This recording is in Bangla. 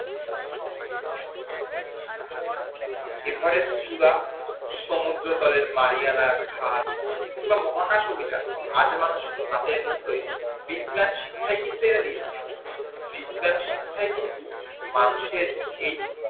এভারেস্ট চূড়া সমুদ্র তলের মারিয়ানা খাল বা মহাকাশ অভিযান আজ মানুষ হাতের মুঠোয় বিজ্ঞান শিক্ষাই কিন্তু এনে দিয়েছে বিজ্ঞান শিক্ষাই কিন্তু মানুষের এই